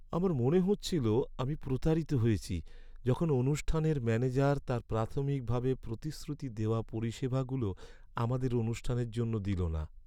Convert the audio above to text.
আমার মনে হচ্ছিল আমি প্রতারিত হয়েছি যখন অনুষ্ঠানের ম্যানেজার তাঁর প্রাথমিকভাবে প্রতিশ্রুতি দেওয়া পরিষেবাগুলো আমাদের অনুষ্ঠানের জন্য দিল না।